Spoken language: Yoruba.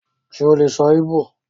Ṣe o lè sọ Igbò?